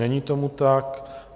Není tomu tak.